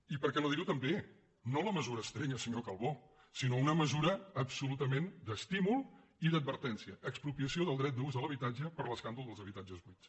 i per què no dir ho també no la mesura estrella senyor calbó sinó una mesura absolutament d’estímul i d’advertència expropiació del dret d’ús a l’habitatge per l’escàndol dels habitatges buits